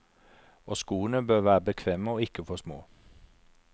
Og skoene bør være bekvemme og ikke for små.